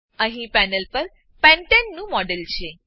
અહીં પેનલ પર પેન્ટને પેન્ટેન નું મોડેલ છે